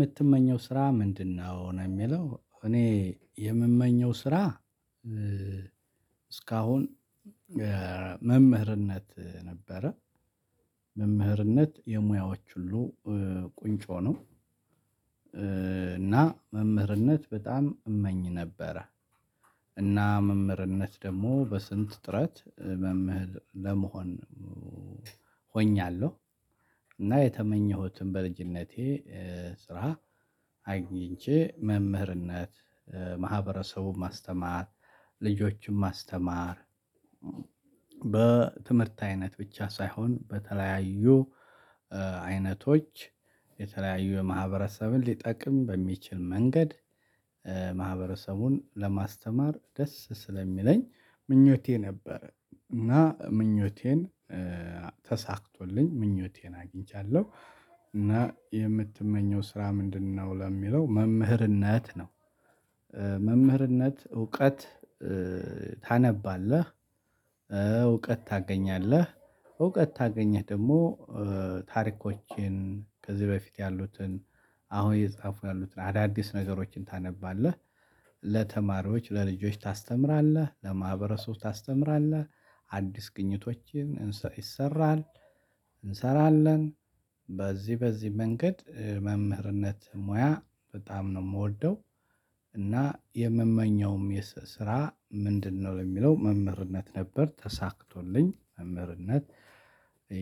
ምትመኘው ስራ ምንድነው? ነው ሚለው እኔ የምመኘው ስራ እስካሁን መምህርነት ነበረ መምህርነት የሙያዎች ሁሉ ቁንጮ ነው። እና መምህርነት በጣም እመኝ ነበረ። እና መምህርነት ደግሞ በስንት ጥረት መምህር ለመሆን ሆኛለሁ እና የተመኘሁትን በልጅነቴ ስራ አግኝቼ መምህርነት ማህበረሰቡን ማስተማር ልጆችን ማስተማር። በትምህርት አይነት ብቻ ሳይሆን በተለያዩ አይነቶች የተለያዩ የማህበረሰብን ሊጠቅም በሚችል መንገድ ማህበረሰቡን ለማስተማር ደስ ስለሚለኝ ምኞቴ ነበር። እና ምኞቴን ተሳክቶልኝ ምኞቴን አግኝቻለሁ። እና የምትመኘው ስራ ምንድነው ለሚለው? መምህርነት ነው። መምህርነት እውቀት ታነባለህ። እውቀት ታገኛለህ እውቀት ታገኘህ ደግሞ ታሪኮችን ከዚህ በፊት ያሉትን አሁን የተጻፉ ያሉትን አዳዲስ ነገሮችን ታነባለህ። ለተማሪዎች ለልጆች ታስተምራለህ ለማህበረሰቡ ታስተምራለህ። አዲስ ግኝቶችን ይሰራል እንሰራለን። በዚህ በዚህ መንገድ መምህርነት ሙያ በጣም ነው ምወደው። እና የምመኘውም የስ ስራ ምንድነው? የሚለው መምህርነት ነበር ተሳክቶልኝ መምህርነት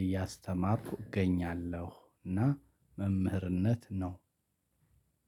እያስተማርኩ እገኛለሁ። እና መምህርነት ነው።